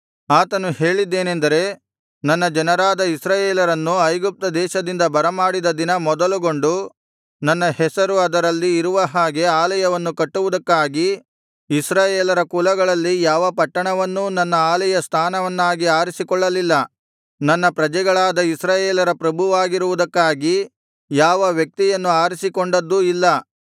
ಆತನು ಹೇಳಿದ್ದೇನೆಂದರೆ ನನ್ನ ಜನರಾದ ಇಸ್ರಾಯೇಲರನ್ನು ಐಗುಪ್ತ ದೇಶದಿಂದ ಬರಮಾಡಿದ ದಿನ ಮೊದಲುಗೊಂಡು ನನ್ನ ಹೆಸರು ಅದರಲ್ಲಿ ಇರುವ ಹಾಗೆ ಆಲಯವನ್ನು ಕಟ್ಟುವುದಕ್ಕಾಗಿ ಇಸ್ರಾಯೇಲರ ಕುಲಗಳಲ್ಲಿ ಯಾವ ಪಟ್ಟಣವನ್ನೂ ನನ್ನ ಆಲಯ ಸ್ಥಾನವನ್ನಾಗಿ ಆರಿಸಿಕೊಳ್ಳಲಿಲ್ಲ ನನ್ನ ಪ್ರಜೆಗಳಾದ ಇಸ್ರಾಯೇಲರ ಪ್ರಭುವಾಗಿರುವುದಕ್ಕಾಗಿ ಯಾವ ವ್ಯಕ್ತಿಯನ್ನು ಆರಿಸಿಕೊಂಡದ್ದೂ ಇಲ್ಲ